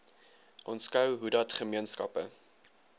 aanskou hoedat gemeenskappe